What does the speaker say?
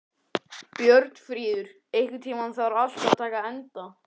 Björnfríður, einhvern tímann þarf allt að taka enda.